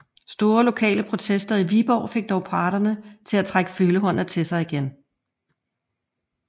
Store lokale protester i Viborg fik dog parterne til at trække følehornene til sig igen